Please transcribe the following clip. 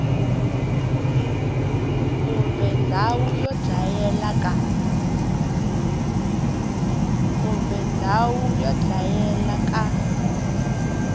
kumbe ndhawu yo dlayela ka